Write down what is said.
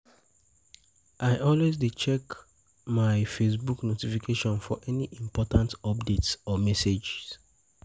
I always dey check always dey check my Facebook notifications for any important updates or messages.